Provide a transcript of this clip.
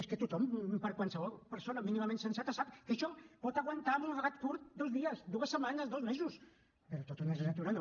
és que tothom qualsevol persona mínimament sensata sap que això pot aguantar en un relat curt dos dies dues setmanes dos mesos però tota una legislatura no